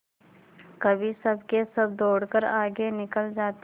कभी सबके सब दौड़कर आगे निकल जाते